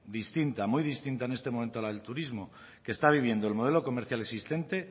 distinta muy distinta en este momento a la del turismo que está viviendo el modelo comercial existente